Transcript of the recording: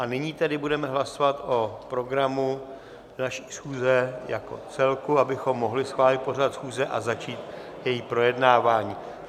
A nyní tedy budeme hlasovat o programu naší schůze jako celku, abychom mohli schválit pořad schůze a začít její projednávání.